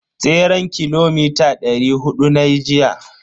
Tseren kilomita dari hudu nayi jiya.